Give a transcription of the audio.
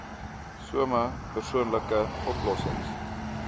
some oorspronklike oplossings